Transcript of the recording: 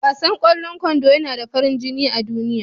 Wasan ƙwallon kwando yana da farin jini a duniya.